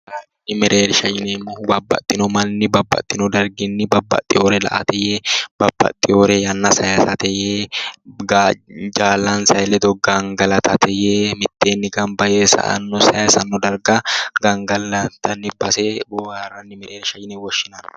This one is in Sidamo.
Booharishu mereershati yineemmohu, babbaxino manni babbaxino darginni babbaxeyore la"ate yee ,babbaxeyore yanna sayisate yee jaalansa ledo gangallate yee mitteenni gamba yee saysano darga gangalantanni base booharani mereersha yinne woshshinanni